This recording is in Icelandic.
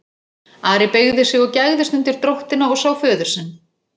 Ari beygði sig og gægðist undir dróttina og sá föður sinn.